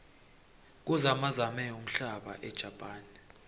kuzamazame umhlaba ejapane